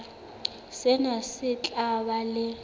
sena se tla ba le